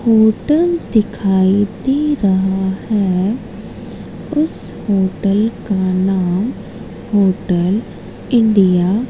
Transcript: hotel दिखाई दे रहा है उस होटल का नाम होटल इंडिया --